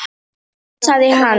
hugsaði hann.